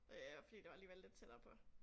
Øh fordi det var alligevel lidt tættere på